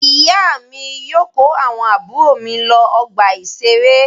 Ìyá mi yóò kó àwọn àbúrò mi lọ ọgbà-ìṣeré.